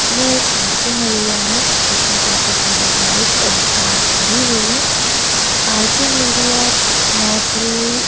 यह एक parking area है जिसमे काफी सारी बाइक्स और कार खड़ी हुई है पार्किंग एरिया मोस्टली --